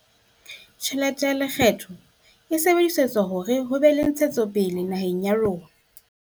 Tjhelete ya lekgetho e sebedisetswa hore ho be le ntshetsopele naheng ya rona.